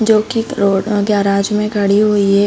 जो की एक रोड गैराज में गाड़ी हुई है।